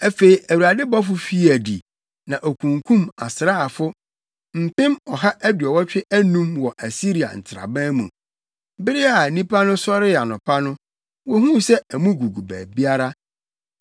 Afei Awurade bɔfo fii adi na okunkum asraafo mpem ɔha aduɔwɔtwe anum wɔ Asiria nsraban mu. Bere a nnipa no sɔree anɔpa no, wohuu sɛ amu gugu baabiara!